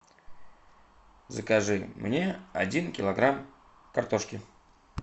закажи мне один килограмм картошки